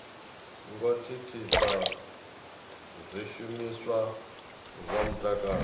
ngo thithisa zwishumiswa zwa mutakalo